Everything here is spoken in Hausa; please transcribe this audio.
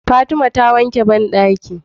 Fatima ta wanke banɗaki